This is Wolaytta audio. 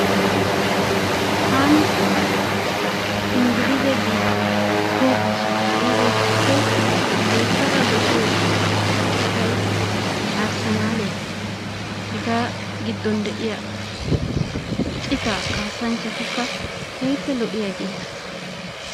Tani inggilize biitaa toho kuwasiya ka'iyagetuppe loyttada dosiyo ciittay arsenaliyaa. Hegaa giddon deiya ciitta kasanchchatikka keehippe loiyageta.